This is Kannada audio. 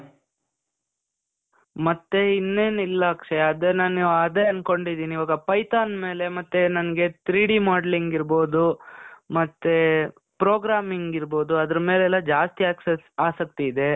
ಮತ್ತೇ ಇನ್ನೇನಿಲ್ಲ ಅಕ್ಷಯ್. ಅದು ನಾನು ಅದೇ ಅಂದ್ಕೊಂಡಿದೀನಿ. ಇವಾಗ Python ಮೇಲೆ, ಮತ್ತೆ ನನ್ಗೆ three D modelling ಇರ್ಬಹುದು, ಮತ್ತೇ programming ಇರ್ಬಹುದು. ಅದ್ರ್ ಮೇಲೆಲ್ಲಾ ಜಾಸ್ತಿ ಆಸಕ್ತಿ ಇದೆ.